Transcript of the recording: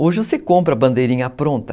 Hoje você compra bandeirinha pronta.